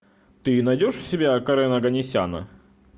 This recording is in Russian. ты найдешь у себя карена оганесяна